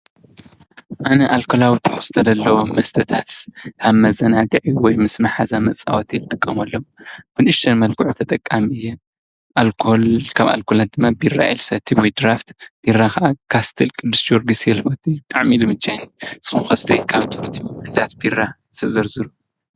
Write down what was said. ኣነ ኣልኮላዊ ትሕዝቶ ዘለዎም መስተታት ከም መዘናግዒ ወይ ምስ ማሓዛ መፃወቲ ይጥቀመሎም። ብ ንእሽቶይ መልክዑ ተጠቃሚ እየ። ኣልኮል ካብ ኣልኮልነት ድማ ቢራ እየ ልሰቲ ወይ ድራፍት። ቢራ ኻዓ ካስትል፣ ቅዱስ ጅወርግስ እየ ልፈትይ። ብጣዓሚ እዩ ልምችየኒ። ንስኻትኩም ከ እስቲ ካብ ትሰትይዎ ዓይነታት ቢራ እስቲ ዘርዝሩ?